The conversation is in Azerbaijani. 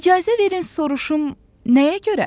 İcazə verin soruşum, nəyə görə?